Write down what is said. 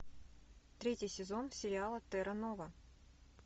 третий сезон сериала терра нова